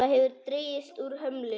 Það hefur dregist úr hömlu.